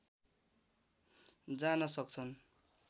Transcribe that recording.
जान सक्छन्